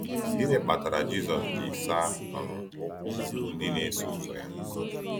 Gịnị kpatara Jisọs ji saa um ụkwụ ndị na-eso ụzọ ya?